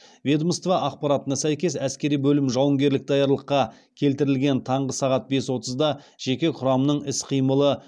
ведомство ақпаратына сәйкес әскери бөлім жауынгерлік даярлыққа келтірілген таңғы сағат бес отызда жеке құрамның іс қимылы